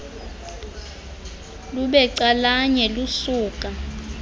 lube calanye lusuka